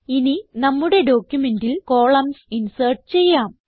ഇനി നമ്മുടെ ഡോക്യുമെന്റിൽ കോളംൻസ് ഇൻസേർട്ട് ചെയ്യാം